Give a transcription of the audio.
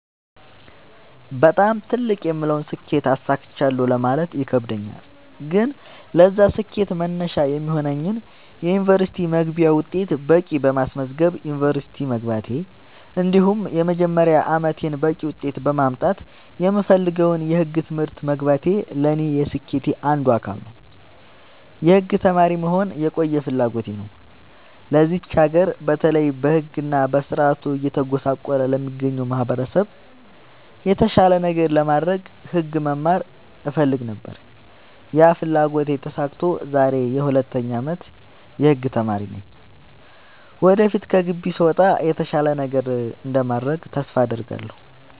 በጣም ትልቅ የምለውን ስኬት አሳክቻለሁ ማለት ይከብደኛል። ግን ለዛ ስኬት መነሻ የሚሆነኝን የ ዩኒቨርስቲ መግቢያ ውጤት በቂ በማስመዝገብ ዩንቨርስቲ መግባቴ እንዲሁም የመጀመሪያ አመቴን በቂ ውጤት በማምጣት የምፈልገውን የህግ ትምህርት መግባቴ ለኔ የስኬቴ አንዱ አካል ነው። የህግ ተማሪ መሆን የቆየ ፍላጎቴ ነው ለዚች ሀገር በተለይ በህግ እና በስርዓቱ እየተጎሳቆለ ለሚገኘው ማህበረሰብ የተሻለ ነገር ለማድረግ ህግ መማር እፈልግ ነበር ያ ፍላጎቴ ተሳክቶ ዛሬ የ 2ኛ አመት የህግ ተማሪ ነኝ ወደፊት ከግቢ ስወጣ የተሻለ ነገር እንደማደርግ ተስፋ አድርጋለሁ።